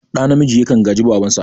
Ɗa namiji yakan gaji babansa